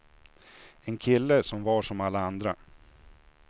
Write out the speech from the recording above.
En kille som var som alla andra.